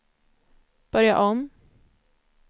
börja om